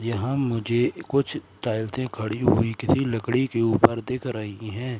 यहां मुझे कुछ टाइल्से खड़ी हुई किसी लकड़ी के ऊपर देख रहीं हैं।